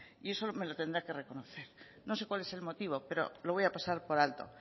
y eso me lo tendrá que reconocer no sé cuál es el motivo pero lo voy a pasar por alto